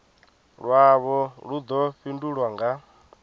lwavho lu ḓo fhindulwa nga